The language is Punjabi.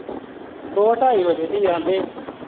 ਦੋ ਢਾਈ ਵਜੇ ਦੀ ਆਂਦੇ।